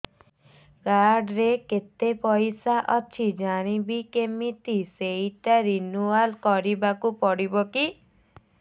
card ରେ କେତେ ପଇସା ଅଛି ଜାଣିବି କିମିତି ସେଟା ରିନୁଆଲ କରିବାକୁ ପଡ଼ିବ କି